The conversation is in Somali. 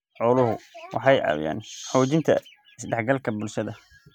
Xooluhu waxay caawiyaan xoojinta is-dhexgalka bulshada.